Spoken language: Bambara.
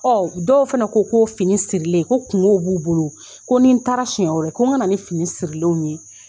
Ɔ dɔw fana ko ko fini sirilen ko kungo b'u bolo ko ni n taara siɲɛ wɛrɛ ko n ka ni fini sirilen ye